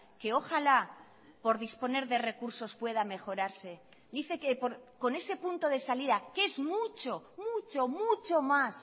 que ojalá por disponer de recursos pueda mejorarse dice que con ese punto de salida que es mucho mucho mucho más